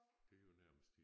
Det er jo nærmest